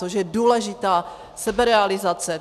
Což je důležitá seberealizace.